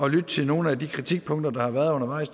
at lytte til nogle af de kritikpunkter der har været undervejs